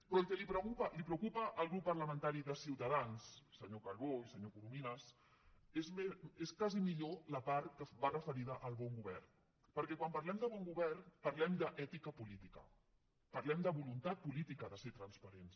però el que preocupa el grup parlamentari de ciutadans senyor calbó i senyor corominas és més aviat la part que va referida al bon govern perquè quan parlem de bon govern parlem d’ètica política parlem de voluntat política de ser transparents